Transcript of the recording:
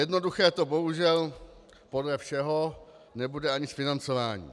Jednoduché to bohužel podle všeho nebude ani s financováním.